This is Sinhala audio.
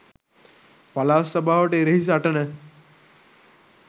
පළාත් සභාවට එරෙහි සටන